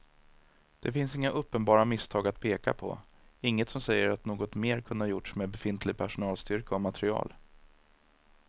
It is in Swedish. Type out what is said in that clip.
Det finns inga uppenbara misstag att peka på, inget som säger att något mer kunde gjorts med befintlig personalstyrka och material.